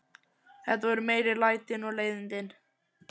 Þetta voru meiri lætin og leiðindin.